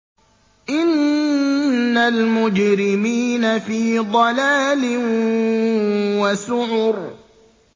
إِنَّ الْمُجْرِمِينَ فِي ضَلَالٍ وَسُعُرٍ